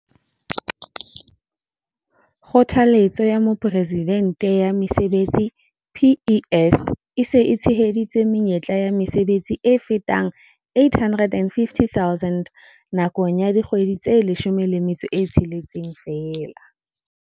Kgothaletso ya Mopresidente ya Mesebetsi, PES, e se e tsheheditse menyetla ya mesebetsi e fetang 850 000 nakong ya dikgwedi tse 16 feela.